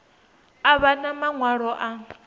a vha na maṅwalo a